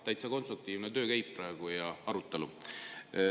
Täitsa konstruktiivne töö ja arutelu käib praegu.